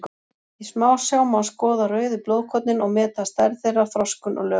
Í smásjá má skoða rauðu blóðkornin og meta stærð þeirra, þroskun og lögun.